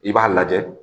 I b'a lajɛ